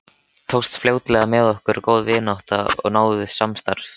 Tókst fljótlega með okkur góð vinátta og náið samstarf.